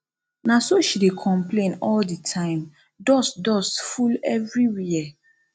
na so she dey complain all the time dust dust full everywhere